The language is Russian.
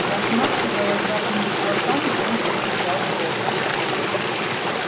размахивая сжатыми кулаками он подбежал к роботам